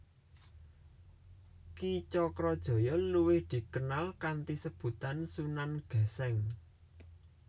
Ki Cakrajaya luwih dikenal kanthi sebutan Sunan Geseng